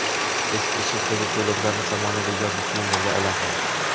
Eski uslubdagi ko‘ylaklarni zamonaviy yozgi kiyimlarga aylantiramiz .